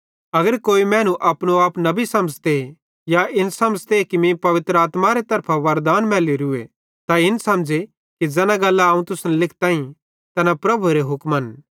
अगर कोई मैनू अपनो आप नबी समझ़े या इन समझ़े कि मीं पवित्र आत्मारे तरफां वरदान मैलोरूए त इन समझ़े कि ज़ैना गल्लां अवं तुसन लिखताईं तैना प्रभुएरे हुक्मन